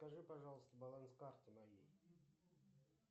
скажи пожалуйста баланс карты моей